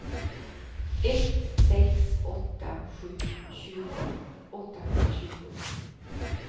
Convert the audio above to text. ett sex åtta sju tjugo åttahundratjugo